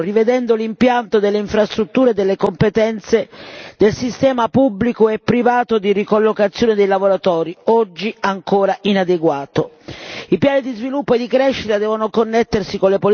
Occorre promuovere una visione moderna delle politiche attive del lavoro rivedendo l'impianto delle infrastrutture delle competenze del sistema pubblico e privato di ricollocazione dei lavoratori, oggi ancora inadeguato.